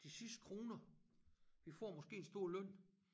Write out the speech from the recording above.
De sidste kroner vi får måske en stor løn